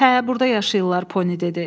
Hə, burda yaşayırlar, Poni dedi.